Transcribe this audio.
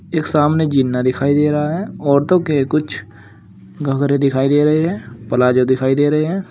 एक सामने जीन्ना दिखाई दे रहा है औरतों के कुछ घगरे दिखाई दे रहे हैं प्लाजो दिखाई दे रहे हैं।